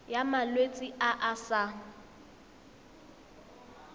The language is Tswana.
ya malwetse a a sa